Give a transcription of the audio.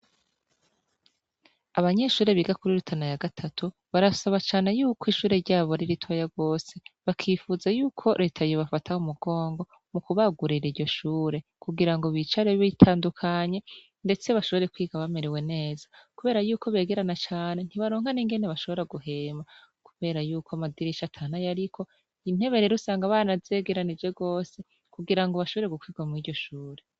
Abanyeshure biga kuri Rutana ya gatatu barasaba cane yuko ishure ryabo ari ritoya gose bakifuza yuko reta yobafata mu mugongo mu kubagurira iryo shure, kugira ngo bicare bitandukanye ndetse bashobore kwiga bamerewe neza, kubera yuko begerana cane ntibaronka n'ingene bashobora guhema kubera yuko amadirisha ata n'ayariko, intebe rero usanga banazegeranije gose kugira ngo bashobore gukwirwa mw'iryo shure.